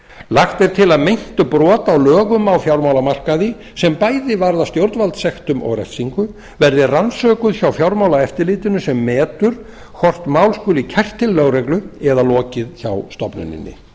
lagt er til að meint brot á fjármálamarkaði sem bæði varða stjórnvaldssektum og refsingu verði rannsökuð hjá fjármálaeftirlitinu sem metur hvort mál skuli kært til lögreglu eða lokið hjá stofnuninni